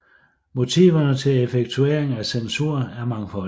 Motiverne til effektuering af censur er mangfoldige